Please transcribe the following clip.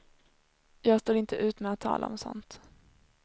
Jag står inte ut med att tala om sådant.